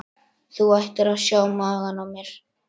Þú ættir að sjá magann á mér.